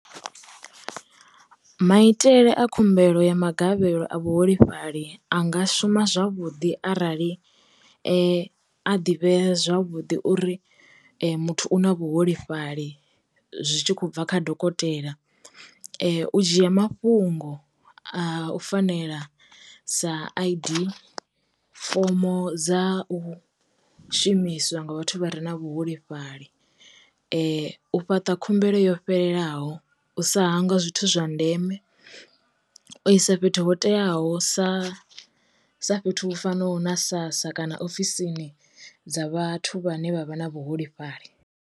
Maitele a khumbelo ya magavhelo a vhuholefhali a nga shuma zwavhuḓi arali a ḓivhea zwavhuḓi uri muthu u na vhuholefhali zwi tshi khou bva kha dokotela, u dzhia mafhungo a u fanela sa I_D, fomo dza u shumiswa nga vhathu vha re na vhuholefhali, u fhaṱa khumbelo yo fhelelaho, u sa hangwa zwithu zwa ndeme, u isa fhethu ho teaho sa sa fhethu hu fanaho na SASSA, kana ofisini dza vhathu vhane vha vha na vhu holefhali.